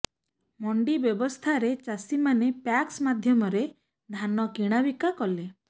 ମଣ୍ଡି ବ୍ୟବସ୍ଥାରେ ଚାଷୀମାନେ ପ୍ୟାକ୍ସ ମାଧ୍ୟମରେ ଧାନ କିଣାବିକା କଲେ